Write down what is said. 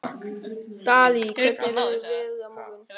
Dalí, hvernig verður veðrið á morgun?